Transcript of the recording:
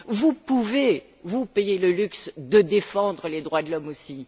Vous pouvez vous payer le luxe de défendre les droits de l'homme aussi.